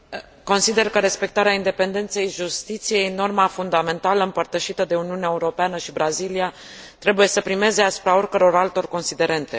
Consider că respectarea independenței justiției, norma fundamentală împărtășită de Uniunea Europeană și Brazilia, trebuie să primeze asupra oricăror altor considerente.